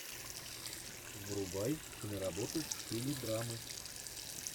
врубай киноработу в стиле драмы